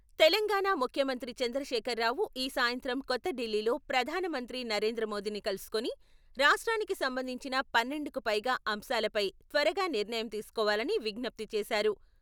తెలంగాణ ముఖ్యమంత్రి చంద్రశేఖర్ రావు ఈ సాయంత్రం కొత్తఢిల్లీలో ప్రధానమంత్రి నరేంద్రమోదీని కలుసుకుని రాష్ట్రానికి సంబంధించిన పన్నెండుకు పైగా అంశాలపై త్వరగా నిర్ణయం తీసుకోవాలని విజ్ఞప్తి చేశారు.